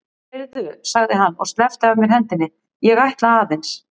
Heyrðu, sagði hann og sleppti af mér hendinni, ég ætla aðeins.